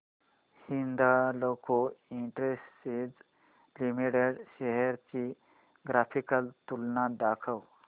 Hindalco industries limited shares ची graphical तुलना दाखव